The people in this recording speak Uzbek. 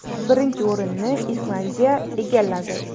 Birinchi o‘rinni Islandiya egalladi.